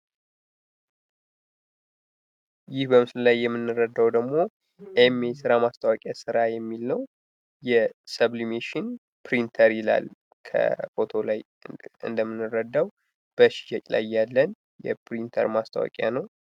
ይህ በምስሉ ላይ የሚረዳው ደግሞ ኤም የስራ ማስታወቂያ ስራ የሚል ነው የሰብልሜሽን ፕሪንተር ይላል ከፎቶ ላይ እንደምንረዳው በመሸጥ ላይ ያለን የፕሪንተር ማስታወቂያ ነው።